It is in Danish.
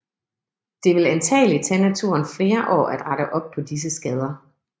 Det vil antagelig tage naturen flere år at rette op på disse skader